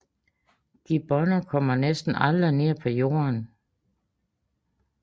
Gibboner kommer næsten aldrig ned på jorden